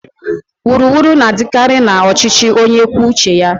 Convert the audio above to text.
Wuru wuru na-adịkarị na ọchịchị onye kwuo uche ya.